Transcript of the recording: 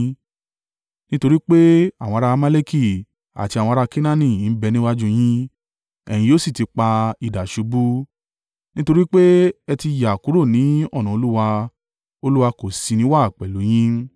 Nítorí pé àwọn ará Amaleki àti àwọn ará Kenaani ń bẹ níwájú yín, ẹ̀yin yóò sì ti ipa idà ṣubú. Nítorí pé, ẹ ti yà kúrò ní ọ̀nà Olúwa, Olúwa kò sì ní í wà pẹ̀lú yín.”